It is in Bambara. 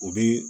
O bɛ